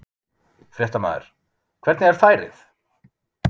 Fréttamaður: Hvernig er færið?